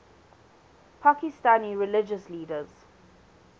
pakistani religious leaders